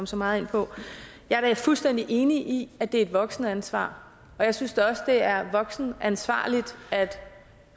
så meget ind på jeg er da fuldstændig enig i at det er et voksenansvar og jeg synes da også at det er voksenansvarligt at de